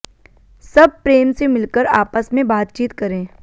सब प्रेम से मिलकर आपस में बातचीत करें